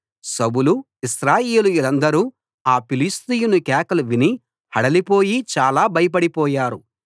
సౌలు ఇశ్రాయేలీయులందరూ ఆ ఫిలిష్తీయుని కేకలు విని హడలిపోయి చాలా భయపడి పోయారు